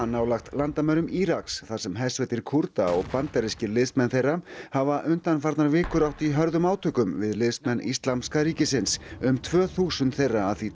nálægt landamærum Íraks þar sem hersveitir Kúrda og bandarískir liðsmenn þeirra hafa undanfarnar vikur átt í hörðum átökum við liðsmenn Íslamska ríkisins um tvö þúsund þeirra að því